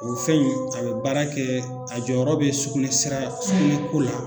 O fɛn in a bɛ baara kɛɛ a jɔyɔrɔ bɛ sugunɛ sira sugunɛ ko la